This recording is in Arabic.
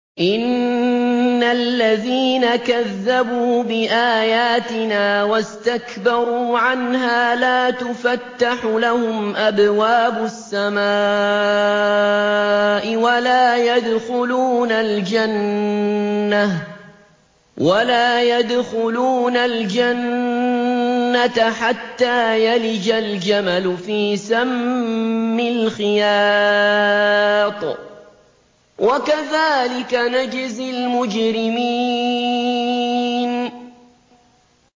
إِنَّ الَّذِينَ كَذَّبُوا بِآيَاتِنَا وَاسْتَكْبَرُوا عَنْهَا لَا تُفَتَّحُ لَهُمْ أَبْوَابُ السَّمَاءِ وَلَا يَدْخُلُونَ الْجَنَّةَ حَتَّىٰ يَلِجَ الْجَمَلُ فِي سَمِّ الْخِيَاطِ ۚ وَكَذَٰلِكَ نَجْزِي الْمُجْرِمِينَ